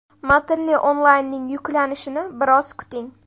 Matnli onlaynning yuklanishini biroz kuting!